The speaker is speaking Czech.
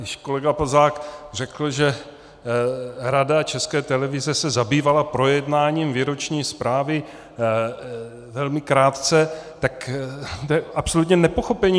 Když kolega Plzák řekl, že Rada České televize se zabývala projednáním výroční zprávy velmi krátce, tak to je absolutní nepochopení.